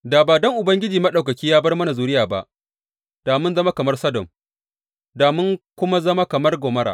Da ba don Ubangiji Maɗaukaki ya bar mana zuriya ba, da mun zama kamar Sodom, da mun kuma zama kamar Gomorra.